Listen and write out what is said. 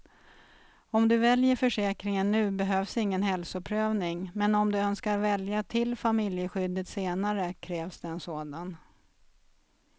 Om du väljer försäkringen nu behövs ingen hälsoprövning, men om du önskar välja till familjeskyddet senare krävs det en sådan.